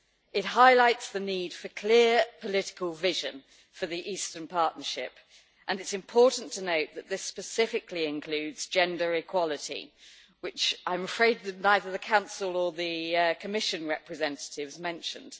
It highlights the need for clear, political vision for the Eastern Partnership and it is important to note that this specifically includes gender equality, which I'm afraid neither the Council nor the Commission representatives mentioned.